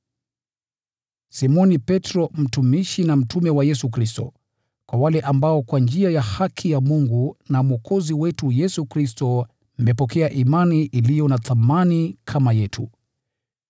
Simoni Petro, mtumishi na mtume wa Yesu Kristo: Kwa wale ambao kwa njia ya haki ya Mungu na Mwokozi wetu Yesu Kristo mmepokea imani iliyo na thamani kama yetu: